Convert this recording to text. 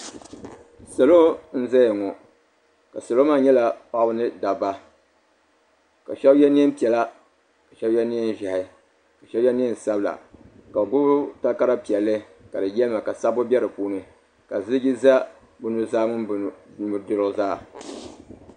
Salo n zaya ŋɔ ka salo maa nyɛ paɣaba ni dabba ka sheba ye niɛn'piɛla ka sheba ye niɛn'ʒehi ka sheba ye niɛn'sabila n gbibi takara piɛlli ka di yelima ka sabbu be dipuuni ka ziliji za bɛ nuzaa ni bɛ nudirigu zaa.